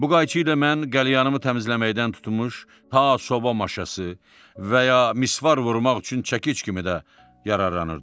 Bu qayçı ilə mən qəlyanımı təmizləməkdən tutmuş, ta soba maşası və ya misvar vurmaq üçün çəkic kimi də yararlanırdım.